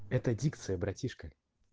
это дикция братишка